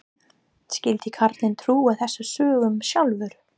Skyldi karlinn trúa þessum sögum sjálfur?